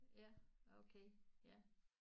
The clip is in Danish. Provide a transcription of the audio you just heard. Ja okay ja